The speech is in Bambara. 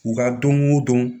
U ka don o don